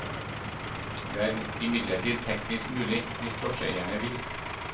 Det er imidlertid teknisk mulig, hvis drosjeeierne vil.